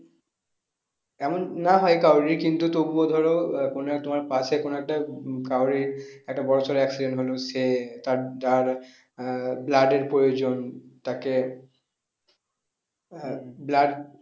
এমন না হয় কারোরই কিন্তু তবুও ধরো আহ কোনো এক তোমার পাশে কোনো একটা কারোর একটা বড়ো সড়ো accident হলো সে তার আহ blood এর প্রয়োজন তাকে আহ blood